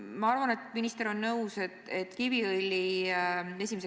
Ma arvan, et minister on nõus, et Kiviõli 1.